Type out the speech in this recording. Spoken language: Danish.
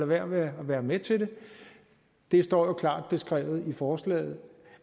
være med at være med til det det står klart beskrevet i forslaget